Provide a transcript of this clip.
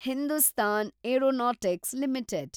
Hindustan aeronautics limited